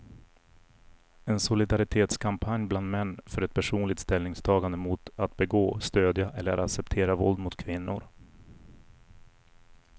En solidaritetskampanj bland män för ett personligt ställningstagande mot att begå, stödja eller acceptera våld mot kvinnor.